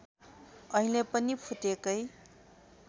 अहिले पनि फुटेकै